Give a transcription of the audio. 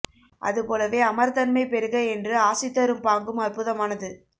அது போலவே அமரத்தன்மை பெறுக என்று ஆசி தரும் பாங்கும் அற்புதமானது